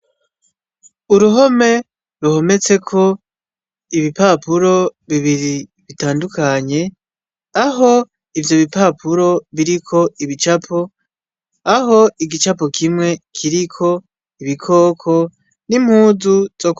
Uruhome ruhometseko ibipapuro bibiri bitandukanye, aho ivyo bipapuro biriko ibicapo, aho igicapo kimwe kiriko ibikoko n'impuzu zok,